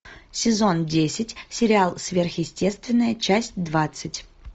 сезон десять сериал сверхъестественное часть двадцать